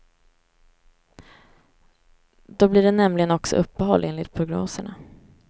Då blir det nämligen också uppehåll, enligt prognoserna.